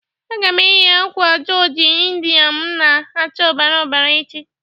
Aga m eyi akwa joji Indịa mụ na-acha ọbara ọbara echi.